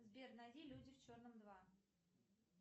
сбер найди люди в черном два